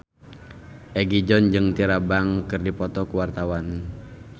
Egi John jeung Tyra Banks keur dipoto ku wartawan